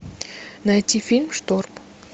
найти фильм шторм